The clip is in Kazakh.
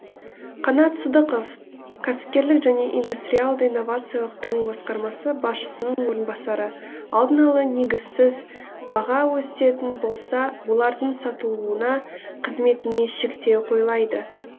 қанат сыдықов кәсіпкерлік және индустриалды инновациялық даму басқармасы басшысының орынбасары алдын ала негізсіз баға өсетін болса олардың сатылуына қызметіне шектеу қойылады